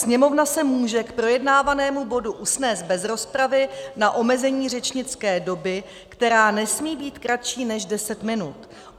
Sněmovna se může k projednávanému bodu usnést bez rozpravy na omezení řečnické doby, která nesmí být kratší než deset minut.